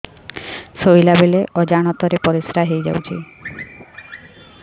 ଶୋଇଲା ବେଳେ ଅଜାଣତ ରେ ପରିସ୍ରା ହେଇଯାଉଛି